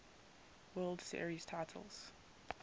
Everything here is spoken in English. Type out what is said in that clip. world series titles